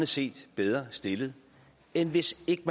set bedre stillet end hvis ikke